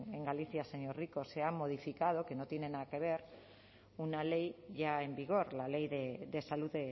en galicia señor rico se ha modificado que no tiene nada que ver una ley ya en vigor la ley de salud